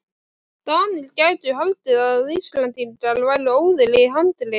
DANIR gætu haldið að Íslendingar væru óðir í handrit.